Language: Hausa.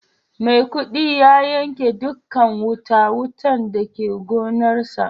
Maikudi ya yanke dukan wuta-wutan da ke gonarsa.